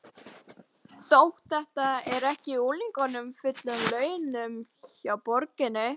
Þetta er þó ekki unglingur á fullum launum hjá borginni?